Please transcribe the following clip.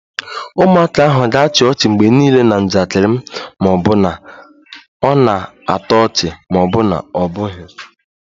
Ụmụaka ahụ ga-achị ọchị mgbe niile na njakịrị m ma ọ bụ na ọ na-atọ ọchị ma ọ bụ na ọ bụghị